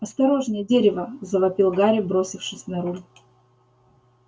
осторожнее дерево завопил гарри бросившись на руль